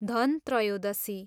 Dhan Trayodashi